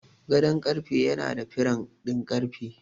Gadon karfe yana da firam ɗin ƙarfe.